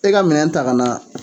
E ka minɛn ta kana